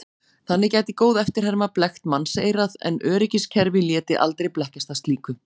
Þannig gæti góð eftirherma blekkt mannseyrað en öryggiskerfi léti aldrei blekkjast af slíku.